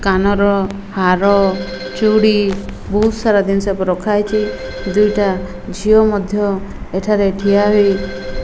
କାନର ହାର ଚୁଡ଼ି ବୋହୁତ୍ ସାରା ଦିନ୍ ଷ ଏପଟେ ରଖାହେଇଚି। ଦୁଇଟା ଝିଅ ମଧ୍ୟ ଏଠାରେ ଠିଆ ହୋଇ।